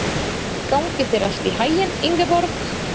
Gangi þér allt í haginn, Ingeborg.